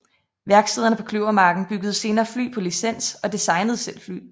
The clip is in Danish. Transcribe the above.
Værkstederne på Kløvermarken byggede senere fly på licens og designede selv fly